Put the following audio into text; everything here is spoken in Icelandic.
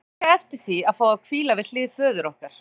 Hún hafði óskað eftir því að fá að hvíla við hlið föður okkar.